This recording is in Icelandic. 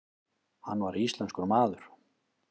Hann var íslenskur maður.